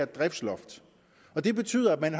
driftsloft det betyder at